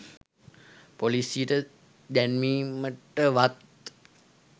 පොලීසියට දැන්වීමටවත්